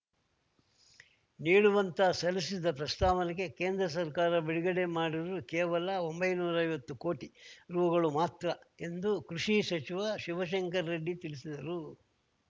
ನೀಡುವಂತ ಸಲ್ಲಿಸಿದ್ದ ಪ್ರಸ್ತಾವನೆಗೆ ಕೇಂದ್ರ ಸರ್ಕಾರ ಬಿಡುಗಡೆ ಮಾಡಿರುವುದು ಕೇವಲ ಒಂಬೈನೂರಾ ಕೋಟಿ ರೂಗಳು ಮಾತ್ರ ಎಂದು ಕೃಷಿ ಸಚಿವ ಶಿವಶಂಕರ್ ರೆಡ್ಡಿ ತಿಳಿಸಿದರು